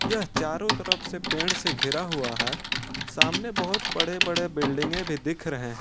यह चारों तरफ से पेड़ से घिरा हुआ है सामने बहुत बड़े बड़े बिल्डिंगे भी दिख रहे हैं।